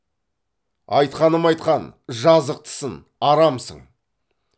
айтқаным айтқан жазықтысын арамсың